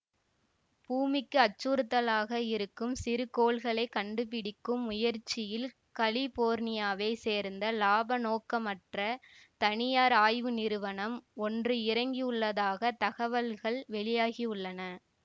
பூமிக்கு அச்சுறுத்தலாக இருக்கும் சிறுகோள்களை கண்டுபிடிக்கும் முயற்சியில் கலிபோர்னியாவைச் சேர்ந்த இலாபநோக்கமற்ற தனியார் ஆய்வு நிறுவனம் ஒன்று இறங்கியுள்ளதாகத் தகவல்கள் வெளியாகியுள்ளன